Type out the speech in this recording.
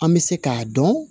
An bɛ se k'a dɔn